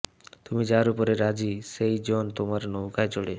তুমি যার উপরে রাজি সেই জন তোমার নৌকায় চড়ে